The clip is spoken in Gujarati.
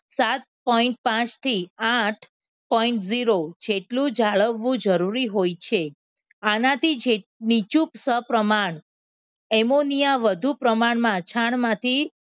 સાત point પાંચ થી આઠ point જીરો છેટલું જાળવવું જરૂરી હોય છે આનાથી છે કે નીચું સહ પ્રમાણ એમોનિયા વધુ પ્રમાણમાં છાણમાંથી